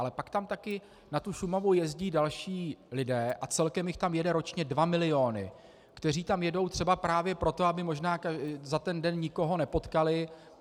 Ale pak tam také na tu Šumavu jezdí další lidé, a celkem jich tam jede ročně dva miliony, kteří tam jedou třeba právě proto, aby možná za ten den nikoho nepotkali.